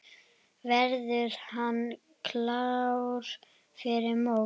Verður hann klár fyrir mót?